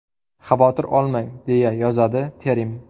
Xavotir olmang”, deya yozadi Terim.